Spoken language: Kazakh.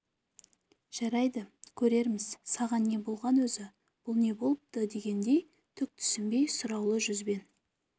жарайды көрерміз саған не болған өзі бұл не болыпты дегендей түк түсінбей сұраулы жүзбен